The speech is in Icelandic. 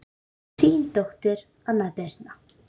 Þín dóttir, Anna Birna.